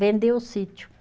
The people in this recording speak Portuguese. Vendeu o sítio.